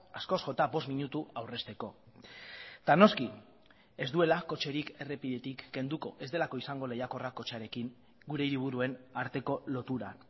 askoz jota bost minutu aurrezteko eta noski ez duela kotxerik errepidetik kenduko ez delako izango lehiakorra kotxearekin gure hiriburuen arteko lotura